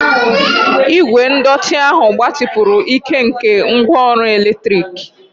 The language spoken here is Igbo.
Igwe ndọtị ahụ gbatịpụrụ ike nke ngwaọrụ eletrik.